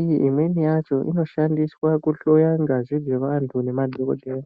iyi imweni yacho inoshandiswa kuhloya ngazi nemadhokodheya.